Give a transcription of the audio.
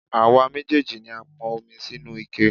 Àwa méjèèjì ni a pọn omi sínú ike.